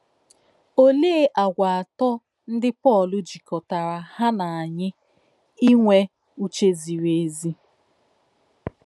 Òlèé àgwà atọ́ ńdí Pọ́l jikọ̀tárà hà um nà ányị̀ ínwè ǔchè zìrì èzì.